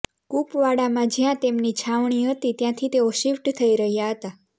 કુપવાડામાં જ્યાં તેમની છાવણી હતી ત્યાંથી તેઓ શિફ્ટ થઈ રહ્યા હતા